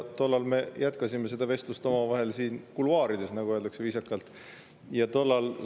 Tollal me jätkasime seda vestlust omavahel kuluaarides, nagu viisakalt öeldakse.